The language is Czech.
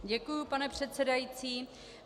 Děkuji, pane předsedající.